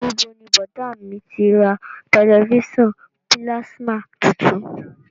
Níbo ni bọ̀dá à mi ti ra tẹ̀lifísàn pílásímà tuntun?